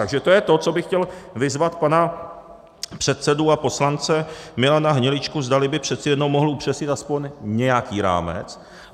Takže to je to, co bych chtěl vyzvat pana předsedu a poslance Milana Hniličku, zdali by přeci jenom mohl upřesnit aspoň nějaký rámec.